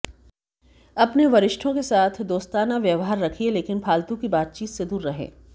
अपने वरिष्ठों के साथ दोस्ताना व्यवहार रखिए लेकिन फालतू की बातचीत से दूर रहें